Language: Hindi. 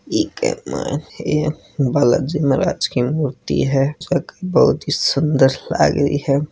इक्क माईन बालाजी महाराज की मूर्ति है जो की बहुत ही सुंदर लाग रही है।